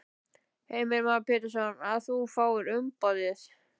Heimir Már Pétursson: Að þú fáir umboðið?